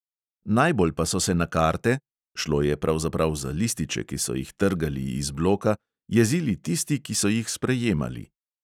Najbolj pa so se na karte – šlo je pravzaprav za lističe, ki so jih trgali iz bloka –, jezili tisti, ki so jih sprejemali.